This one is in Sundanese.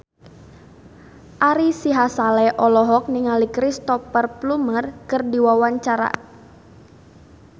Ari Sihasale olohok ningali Cristhoper Plumer keur diwawancara